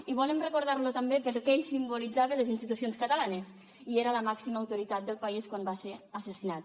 i volem recordar lo també perquè ell simbolitzava les institucions catalanes i era la màxima autoritat del país quan va ser assassinat